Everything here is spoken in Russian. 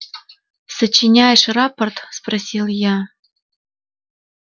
сочиняешь рапорт спросил я